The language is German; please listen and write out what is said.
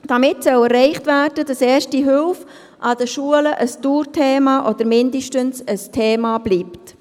Damit soll erreicht werden, dass Erste Hilfe an den Schulen ein Dauerthema oder mindestens ein Thema bleibt.